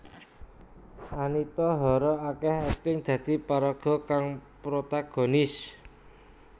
Anita Hara akéh akting dadi paraga kang protagonis